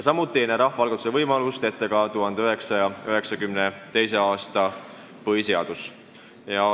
Samuti ei näe rahvaalgatuse võimalust ette 1992. aasta põhiseadus.